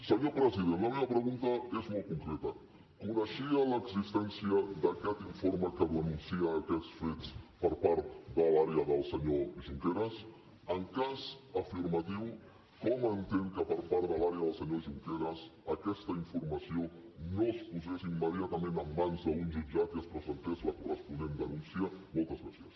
senyor president la meva pregunta és molt concreta coneixia l’existència d’aquest informe que denuncia aquests fets per part de l’àrea del senyor junqueras en cas afirmatiu com entén que per part de l’àrea del senyor junqueras aquesta informació no es posés immediatament en mans d’un jutjat i es presentés la corresponent denúncia moltes gràcies